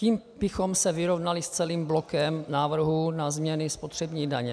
Tím bychom se vyrovnali s celým blokem návrhů na změny spotřební daně.